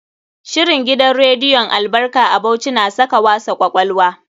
Shirin gidan rediyon Albarka a Bauchi na saka wasa kwakwalwa.